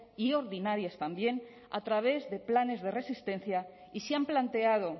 y ordinarias también a través de planes de resistencia y se han planteado